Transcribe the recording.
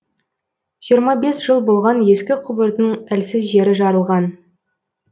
жиырма бес жыл болған ескі құбырдың әлсіз жері жарылған